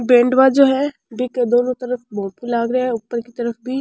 band बाजों है बि के दोनों तरफ फोटो लाग रा है ऊपर की तरफ भी --